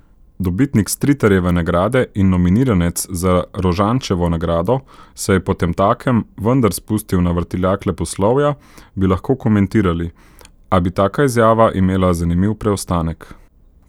Dobitnik Stritarjeve nagrade in nominiranec za Rožančevo nagrado se je potemtakem vendar spustil na vrtiljak leposlovja, bi lahko komentirali, a bi taka izjava imela zanimiv preostanek.